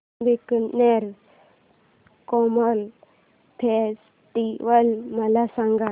Bikaner camel festival मला सांग